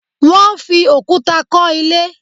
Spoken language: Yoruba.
They used stones to build the house